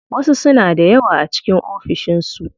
Wasu suna da yawa a cikin ofishin su.